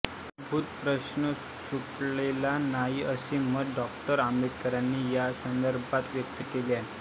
मूलभूत प्रश्न सुटलेला नाही असे मत डॉ आंबेडकरांनी या संदर्भात व्यक्त केले आहे